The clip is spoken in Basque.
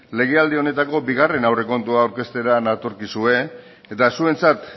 legealdi honetako bigarren aurrekontua aurkeztera natorkizue eta zuentzat